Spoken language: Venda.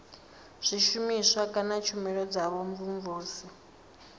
zwishumiswa kana tshumelo dza vhumvumvusi